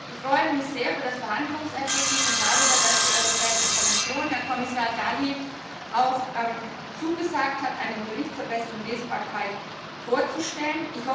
Ich freue mich sehr über das Verhandlungsergebnis und darüber, dass die Europäische Kommission, Herr Kommissar Dalli, auch zugesagt hat, einen Bericht zur besseren Lesbarkeit vorzustellen.